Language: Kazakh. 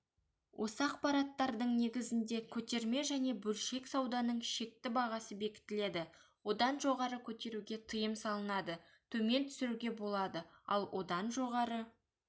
осы ақпараттардың негізінде көтерме және бөлшек сауданың шекті бағасы бекітіледі одан жоғары көтеруге тыйым салынады төмен түсіруге болады ал одан жоғары